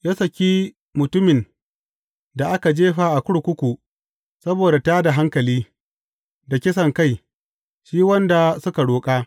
Ya saki mutumin da aka jefa a kurkuku saboda tā da hankali, da kisankai, shi wanda suka roƙa.